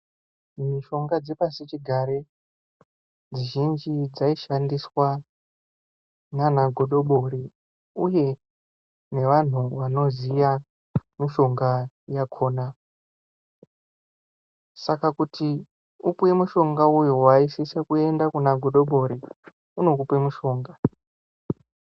Mishonga dzepashi chigare mizhinji dzaishandiswa nanagodobori uye nevanhu vanoziya mushonga yakhona saka kuti upuwe mushonga uyu waisise kuenda kunagodobori unokupe mushonga.